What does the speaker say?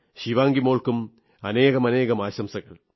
ശിവാംഗി മോൾക്കും അനേകം ആശംസകൾ